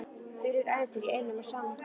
Þvílíkt ævintýri í einum og sama skrokknum.